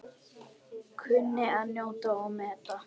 Kunni að njóta og meta.